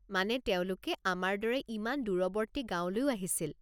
মানে তেওঁলোকে আমাৰ দৰে ইমান দূৰৱৰ্তী গাঁৱলৈও আহিছিল।